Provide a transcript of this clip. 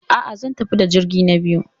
A'a, zan tafi da jirgi na biyu.